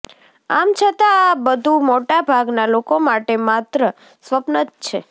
આમ છતાં આ બધું મોટાભાગના લોકો માટે માત્ર સ્વપ્ન જ છે